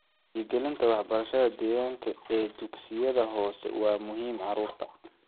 Wacyigelinta waxbarashada deegaanka ee dugsiyada hoose waa muhiim carruurta.